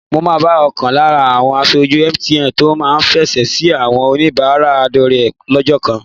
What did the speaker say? Mo máa bá ọ̀kan lára àwọn aṣojú MTN tó máa fèsì sí àwọn oníbàárà dọ́rẹ̀ẹ́ lọ́jọ́ kan